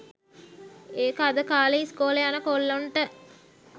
ඒක අද කාලේ ඉස්කෝලෙ යන කොල්ලොන්ට